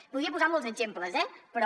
en podria posar molts exemples eh però